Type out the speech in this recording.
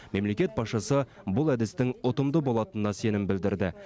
мемлекет басшысы бұл әдістің ұтымды болатынына сенім білдірді